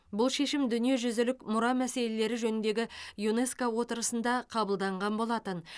бұл шешім дүниежүзілік мұра мәселелері жөніндегі юнеско отырысында қабылданған болатын